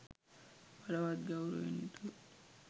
බලවත් ගෞරවයෙන් යුතුව